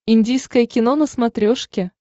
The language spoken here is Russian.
индийское кино на смотрешке